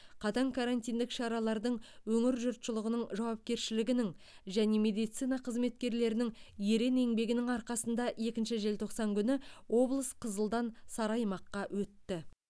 қатаң карантиндік шаралардың өңір жұртшылығының жауапкершілігінің және медицина қызметкерлерінің ерен еңбегінің арқасында екінші желтоқсан күні облыс қызылдан сары аймаққа өтті